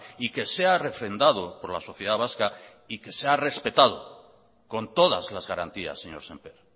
y que sea refrendado por la sociedad vasca y que sea respetado con todas las garantías señor semper